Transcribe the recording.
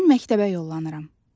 Mən məktəbə yollanıram.